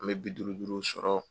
An mɛ bi duuru duuru sɔrɔ